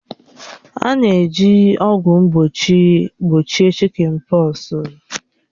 A na-eji ọgwụ mgbochi gbochie chị́kịn pọksi